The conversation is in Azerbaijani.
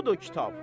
Budur kitab.